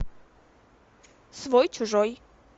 свой чужой